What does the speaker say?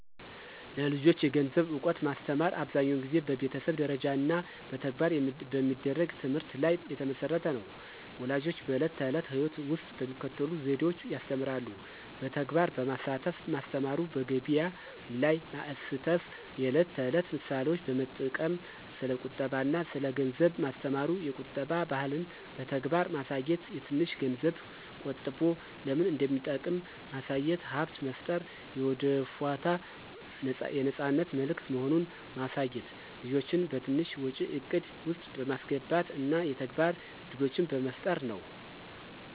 ለልጆች የገንዘብ እውቀት ማስተማር አብዛኛውን ጊዜ በቤተሰብ ደረጃ እና በተግባር በሚደረግ ትምህርት ላይ የተመሠረተ ነው። ፣ ወላጆች በዕለት ተዕለት ሕይወት ውስጥ በሚከተሉት ዘዴዎች ያስተምራሉ። በተግባር በማሳተፍ ማስተማሩ፣ በገቢያ ላይ ማስተፍ፣ የዕለት ተዕለት ምሳሌዎች በመጠቅም ስለ ቁጠባ አና ስለ ገንዘብ ማስተማሩ፣ የቁጠባ ባህልን በተግባር ማሳየት፣ ትንሽ ገንዝብ ቆጠቦ ለምን እንደሚጠቅም ማሳየት፣ ሀብት መፍጠር የወደፏት የነፃነት ምልክት መሆኑን ማሳየት፣ ልጆችን በትንሽ ወጪ እቅድ ውስጥ በማስገባት እና የተግባር እድሎችን በመፍጠር ነው።